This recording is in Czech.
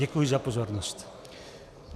Děkuji za pozornost.